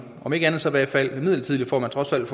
om ikke andet så i hvert fald midlertidigt for at man trods alt